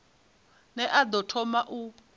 ne a ḓo thoma u